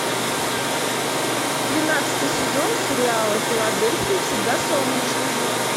тринадцатый сезон сериала в филадельфии всегда солнечно